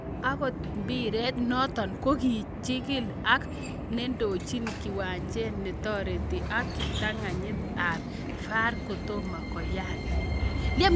Akot mbiret noto kokikichigil ak nendochin kiwanjet netoreti ak kiptanganyit ab VAR kotomo koyan .